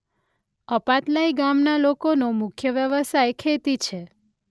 અપાતલાઇ ગામના લોકોનો મુખ્ય વ્યવસાય ખેતી છે.